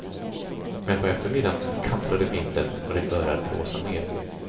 Men på eftermiddagen kantrade vinden och det började att blåsa mer.